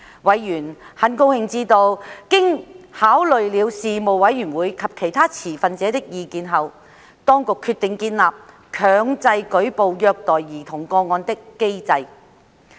委員很高興知道，經考慮事務委員會及其他持份者的意見，當局決定建立強制舉報虐待兒童個案的機制。